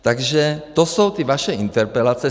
Takže to jsou ty vaše interpelace.